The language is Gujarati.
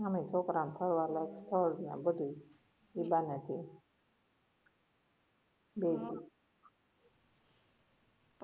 અમે ફરવા લાયક સ્થળ બધુ ઈબાના છે હમ